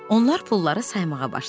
Onlar pulları saymağa başladılar.